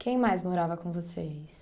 Quem mais morava com vocês?